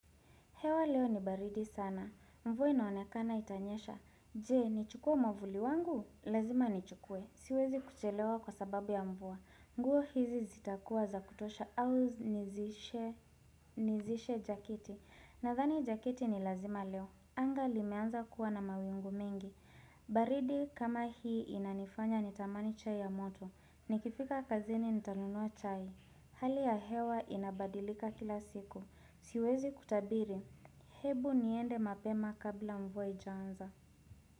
Hewa leo ni baridi sana. Mvua inaonekana itanyesha. Je, ni chukue mwvuli wangu? Lazima ni chukue. Siwezi kuchelewa kwa sababu ya mvua. Nguo hizi zitakuwa za kutosha au nizishe jakiti. Nathani jakiti ni lazima leo. Anga limeanza kuwa na mawingu mingi. Baridi kama hii inanifanya nitamani chai ya moto. Nikifika kazini nitanunua chai. Hali ya hewa inabadilika kila siku. Siwezi kutabiri, hebu niende mapema kabla mvua haijaanza.